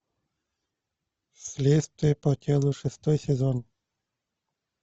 следствие по телу шестой сезон